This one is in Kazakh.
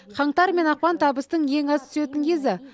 қаңтар мен ақпан табыстың ең аз түсетін кезі